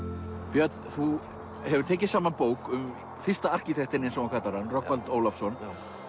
björn þú hefur tekið saman bók um fyrsta arkitektinn eins og þú kallar hann Rögnvald Ólafsson